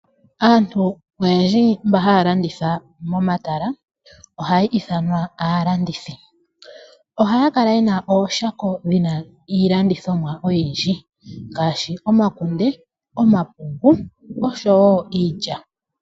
Aantu oyendji mba haya landitha momatala, ohaya ithanwa aalandithi. Ohaya kala ye na ooshako dhi na iilandithomwa oyindji ngaashi omakunde, omapungu oshowo iilya.